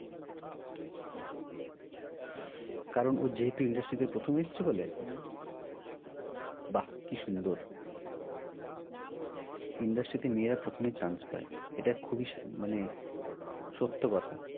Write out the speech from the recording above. কারণ ও যেহেতু industry তে প্রথম এসছে বলে? হ্যাঁ বাহ কি সুন্দর industry তে প্রথমে মেয়েরা chance পায়। এটা খুবই মানে সত্য কথা